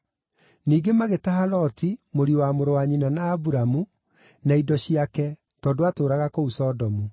Ningĩ magĩtaha Loti, mũriũ wa mũrũ wa nyina na Aburamu, na indo ciake, tondũ aatũũraga kũu Sodomu.